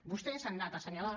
vostès han anat a assenyalar